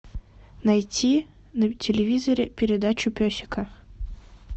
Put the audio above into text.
найти на телевизоре передачу песика